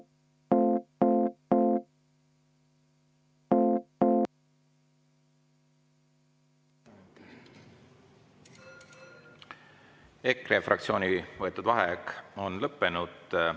EKRE fraktsiooni võetud vaheaeg on lõppenud.